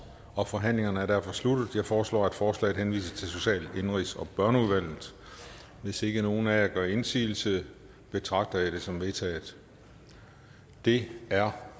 og forhandlingen er derfor sluttet jeg foreslår at forslaget henvises til social indenrigs og børneudvalget hvis ikke nogen af jer gør indsigelse betragter jeg det som vedtaget det er